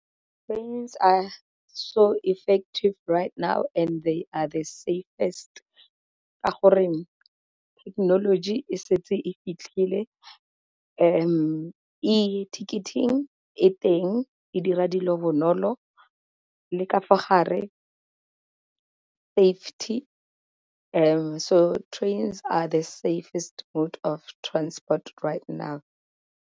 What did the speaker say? Trains are so effective right now and they are the safest ka goreng thekenoloji e setse e fitlhile e teng e dira dilo bonolo, le ka fa gare safety so are the safest mode of transport right now.